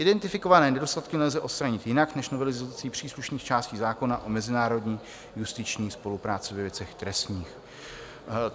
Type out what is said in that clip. Identifikované nedostatky nelze odstranit jinak než novelizací příslušných částí zákona o mezinárodní justiční spolupráci ve věcech trestních.